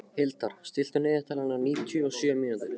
Hildar, stilltu niðurteljara á níutíu og sjö mínútur.